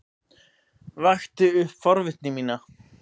Vakti upp forvitni mína.